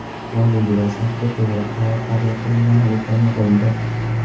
Hozirgi vaziyatda to‘g‘ri qaror qabul qilingani o‘ta muhimdir.